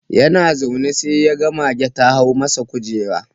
Yana zaune sai ga mage ta hau masa kujera.